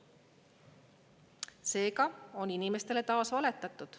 Seega on inimestele taas valetatud.